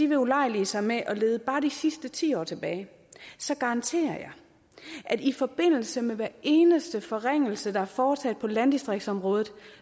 vil ulejlige sig med at lede bare de sidste ti år tilbage garanterer jeg at i forbindelse med hver eneste forringelse der er foretaget på landdistriktsområdet